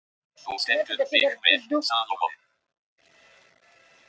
Þú stendur þig vel, Salómon!